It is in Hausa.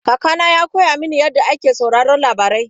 Kakana ya koya mini yadda ake sauraron labarai..